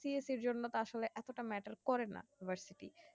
CAS এর জন্য আসলে এতটা matter করে না university